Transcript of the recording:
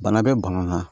Bana bɛ bana na